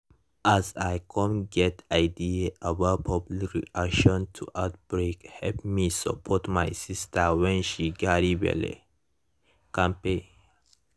as i come get ideas about public reaction to outbreake help me support my sister when she carry belle kampe